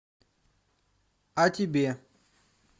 а тебе